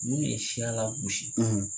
N'u ye siya lagosi